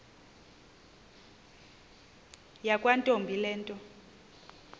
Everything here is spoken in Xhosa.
yakwantombi le nto